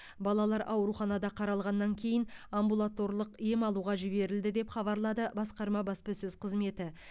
балалар ауруханада қаралғаннан кейін амбулаторлық ем алуға жіберілді деп хабарлады басқарма баспасөз қызметі